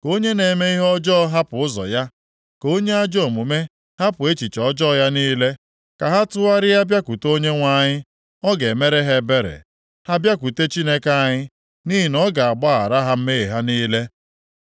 Ka onye na-eme ihe ọjọọ hapụ ụzọ ya, ka onye ajọ omume hapụ echiche ọjọọ ya niile. Ka ha tụgharịa bịakwute Onyenwe anyị, ọ ga-emere ha ebere, ha bịakwute Chineke anyị, nʼihi na ọ ga-agbaghara ha mmehie ha niile.